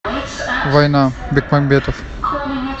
война бекмамбетов